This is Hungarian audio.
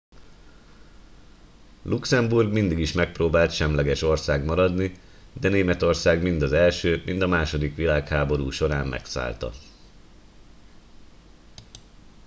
luxemburg mindig is megpróbált semleges ország maradni de németország mind az i mind a ii világháború során megszállta